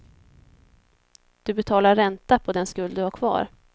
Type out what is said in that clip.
Du betalar ränta på den skuld du har kvar.